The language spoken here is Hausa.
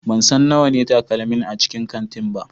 Ban san nawa ne takalmin a cikin kantin ba.